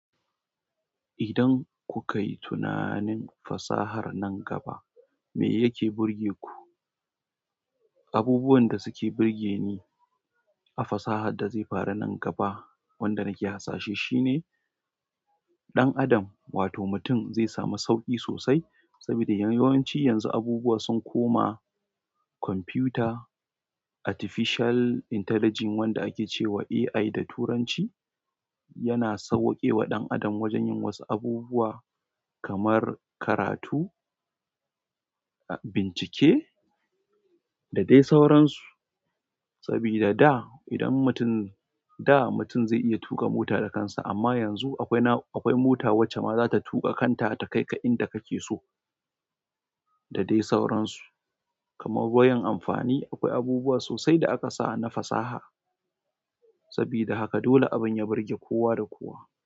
Idan ku ka yi tunanin fasahar nan gaba me yake burge ku? Abubuwan da suke burge ni a fasahar da zai faru nan gaba, wanda nake hasashe shi ne ɗan adam wato mutum zai sami sauƙi sosai saboda yawanci yanzu abubuwa sun koma kwamfuta, artificial intelligence wanda ake cewa AI da turanci yana sauwaƙe wa ɗan adam wajen yin wasu abubuwa kamar karatu, bincike da dai sauransu. Sabida da idan mutum, da mutum zai iya tuƙa mota da kansa amma yanzu akwai na, akwai mota wacce ma zata tuƙa kanta ta kai ka inda kake so da dai sauransu. Kamar koyon amfani, akwai abubuwa sosai da aka sa na fasaha. Sabida haka dole abin ya burge kowa da kowa.